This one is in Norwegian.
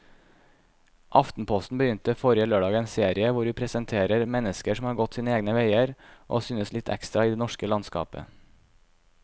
Aftenposten begynte forrige lørdag en serie hvor vi presenterer mennesker som har gått sine egne veier og synes litt ekstra i det norske landskapet.